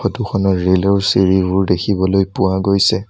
ফটোখনৰ ৰেলৰ চিৰিবোৰ দেখিবলৈ পোৱা গৈছে।